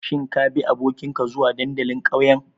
Shin kabi abokinka zuwa dandalin ƙauyen?